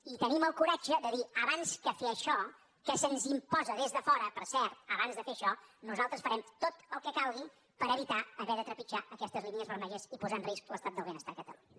i tenim el coratge de dir abans que fer això que se’ns imposa des de fora per cert abans de fer això nosaltres farem tot el que calgui per evitar haver de trepitjar aquestes línies vermelles i posar en risc l’estat del benestar a catalunya